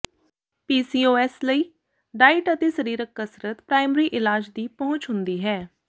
PCOS ਲਈ diet ਅਤੇ ਸਰੀਰਕ ਕਸਰਤ ਪ੍ਰਾਇਮਰੀ ਇਲਾਜ ਦੀ ਪਹੁੰਚ ਹੁੰਦੀ ਹੈ